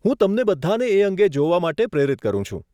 હું તમને બધાંને એ અંગે જોવા માટે પ્રેરિત કરું છું.